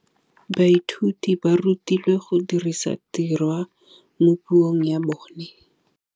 Baithuti ba rutilwe go dirisa tirwa mo puong ya bone.